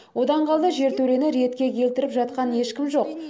одан қарай жертөлені ретке келтіріп жатқан ешкім жоқ